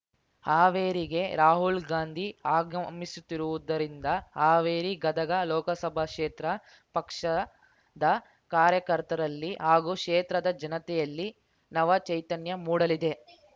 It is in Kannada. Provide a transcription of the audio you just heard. ಹಾವೇರಿಗೆ ರಾಹುಲ್ ಗಾಂಧಿ ಆಗಮಿಸುತ್ತಿರುವುದರಿಂದ ಹಾವೇರಿಗದಗ ಲೋಕಸಭಾ ಕ್ಷೇತ್ರ ಪಕ್ಷದ ಕಾರ್ಯಕರ್ತರಲ್ಲಿ ಹಾಗೂ ಕ್ಷೇತ್ರದ ಜನತೆಯಲ್ಲಿ ನವ ಚೈತನ್ಯ ಮೂಡಲಿದೆ